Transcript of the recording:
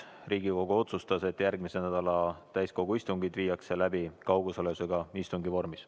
Riigikogu otsustas, et järgmise nädala täiskogu istungid viiakse läbi kaugosalusega istungi vormis.